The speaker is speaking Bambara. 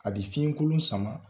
A bɛ fiɲɛ kolon sama